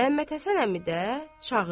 Məhəmməd Həsən əmi də çağırdı.